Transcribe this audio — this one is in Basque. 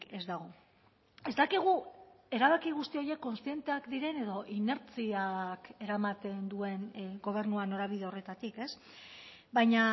ez dago ez dakigu erabaki guzti horiek kontzienteak diren edo inertziak eramaten duen gobernua norabide horretatik ez baina